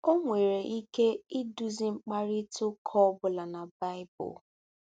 O nwere ike iduzi mkparịta ụka ọ bụla na Baịbụl.